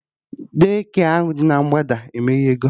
De-kịa ahụ dị na mgbada emeghego